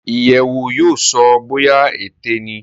iyewo yóò so bóyá Ẹ̀tẹ ní